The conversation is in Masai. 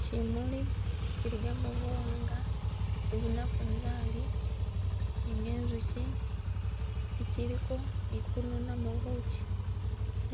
Kyimuli kyiligamo buwanga ni buna bunzali, nga enjukyi itsiliko ikununamo bukyi,